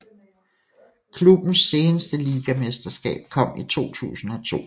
Klubbens seneste ligamesterskab kom i 2002